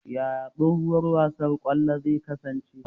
Yaya tsawon lokacin wasan kwando zai kasance?